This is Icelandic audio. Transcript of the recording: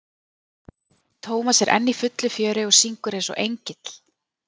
hann Tómas er enn í fullu fjöri og syngur eins og engill.